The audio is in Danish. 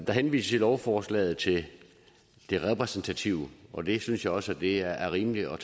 der henvises i lovforslaget til det repræsentative og det synes jeg også er rimeligt at